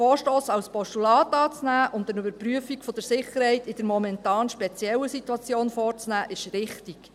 Den Vorstoss als Postulat anzunehmen und eine Überprüfung der Sicherheit in der momentan speziellen Situation vorzunehmen, ist richtig.